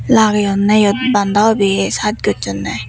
lageyunne iyot banda hobi chaas gochunney.